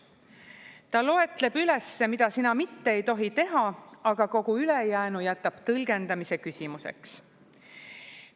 Ta loetleb üles, mida sina mitte ei tohi teha, aga kogu ülejäänu jätab tõlgendamise küsimuseks.